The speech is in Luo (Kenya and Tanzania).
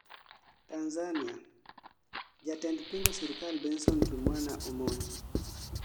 Tanzania: jatend pingo sirkal Benson Kimwana omonj